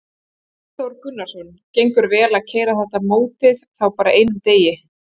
Hafþór Gunnarsson: Gengur vel að keyra þetta mótið þá bara á einum degi?